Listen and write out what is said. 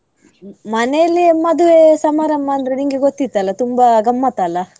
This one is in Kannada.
ಮ~ ಮನೆಯಲ್ಲೇ ಮದುವೆ ಸಮಾರಂಭ ಅಂದ್ರೆ ನಿಂಗೆ ಗೊತ್ತಿತ್ತ್ ಅಲ್ಲ ತುಂಬಾ ಗಮ್ಮತ್ ಅಲ್ಲ.